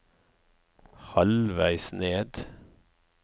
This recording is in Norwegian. halvveis ned